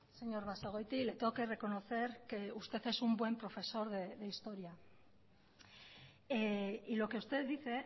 señor basagoiti le tengo que reconocer que usted es un buen profesor de historia y lo que usted dice